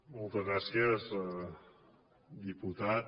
moltes gràcies diputat